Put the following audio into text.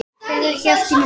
Fer ekki allt í hnút?